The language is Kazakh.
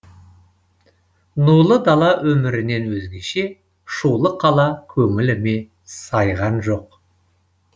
нулы дала өмірінен өзгеше шулы қала көңіліме сайған жоқ